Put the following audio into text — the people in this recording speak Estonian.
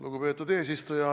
Lugupeetud eesistuja!